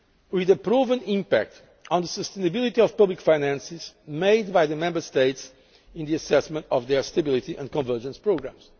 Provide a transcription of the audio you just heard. with a proven impact on the sustainability of public finances made by the Member States in the assessment of their stability and convergence programmes.